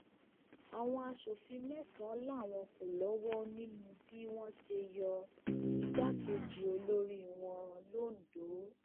àwọn aṣòfin mẹsànán làwọn kò lọwọ nínú bí wọn ṣe yọ igbákejì olórí wọn londo